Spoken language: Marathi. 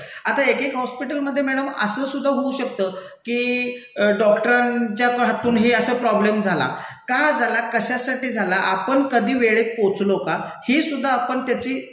आता एक एका हॉस्पिटलमधे मैडम असं सुद्धा होऊ शकतं की डॉक्टरांच्या हातून हे असा प्रॉब्लेम झाला. का झाला? कशासाठी झाला? आपण कधी वेळेत पोहोचलो का? हे सुद्धा आपण त्याची